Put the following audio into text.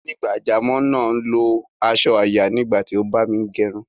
Onígbàjámọ̀ náà lo asọ àyà nígbà tí o ń bámi gerun